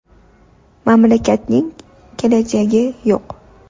Mamlakatning kelajagi yo‘q”.